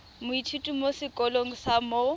moithuti mo sekolong sa mo